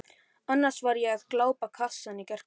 annars var ég að glápa á kassann í gærkvöldi.